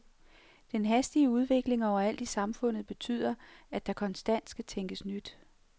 Den hastige udvikling overalt i samfundet betyder, at der konstant skal tænkes nyt.